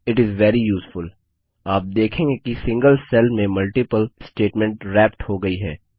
इत is very useful आप देखेंगे कि सिंगल सेल में मल्टिपल स्टेटमेंट रैप्ट हो गई हैं